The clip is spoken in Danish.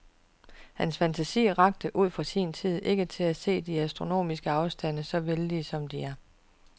Hans fantasi rakte, ud fra sin tid, ikke til at se de astronomiske afstande så vældige, som de er.